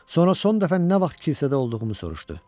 Sonra son dəfə nə vaxt kilsədə olduğumu soruşdu.